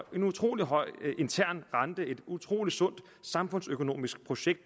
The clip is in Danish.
utrolig høj intern rente et utrolig sundt samfundsøkonomisk projekt